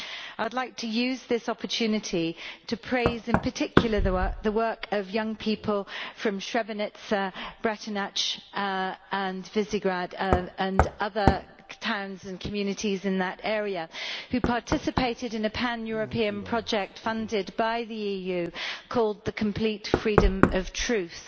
I would like to use this opportunity to praise in particular the work of young people from Srebrenica, Bratunac and Višegrad and other towns and communities in that area who participated in a pan European project funded by the EU called The complete freedom of truth'.